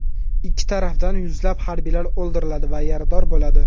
Ikki tarafdan yuzlab harbiylar o‘ldiriladi va yarador bo‘ladi.